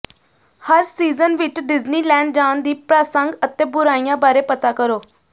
ਹਰ season ਵਿਚ Disneyland ਜਾਣ ਦੀ ਪ੍ਰਾਸੰਗ ਅਤੇ ਬੁਰਾਈਆਂ ਬਾਰੇ ਪਤਾ ਕਰੋ